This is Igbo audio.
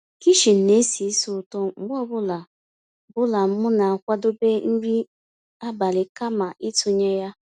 kichin ná-èsì ísí ụ̀tọ́ mgbe ọ́ bụ́là bụ́là m ná-àkwàdébé nrí àbálị́ kàma ị̀tụ́nyé yá.